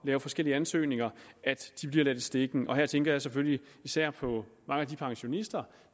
med forskellige ansøgninger bliver ladt i stikken her tænker jeg selvfølgelig især på mange af de pensionister